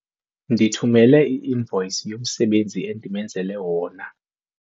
Ndithumele i-invoyisi yomsebenzi endimenzele wona.